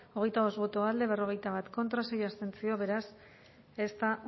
hogeita bost boto alde berrogeita bat contra sei abstentzio beraz ez da